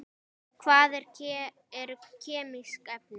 Hvað eru kemísk efni?